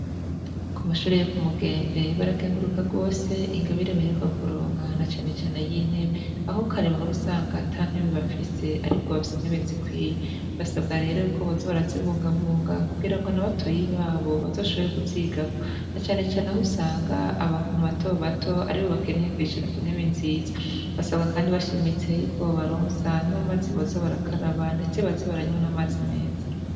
ku mashure yo ku mugembe barakenguruka gwose ingabire baheruka kuronga na cyanecyane y'intebe aho karebaho rusanga atantebe bafise ariko bafise intebe zikwiye basabwa rero ikobozo barazibungabunga kugira ngo n'abatoyi babo bazoshobore kuziga ko na cyane cyane aho usanga abantu bato bato aribo bakeneye kwicara ku ntebe nzizo basabwa kandi bashimitse y'iko baronsa n'amazi bozo barakaraba ndetse baze baranywe n'amazi meza